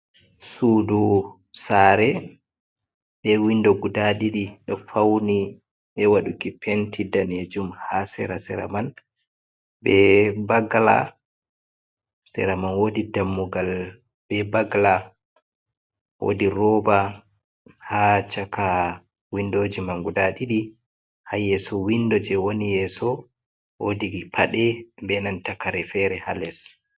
sudu sare be windo guda didi ɗo fauni be waduki penti danejum ha sera-sera man be bagala sera man wodi dammugal be bagala wodi rooba ha shaka windo je man guda ɗidi ha yeso windo je wani yeso wodii paɗe benan ta kare fere ha les.